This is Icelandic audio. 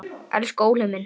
Elsku Óli minn.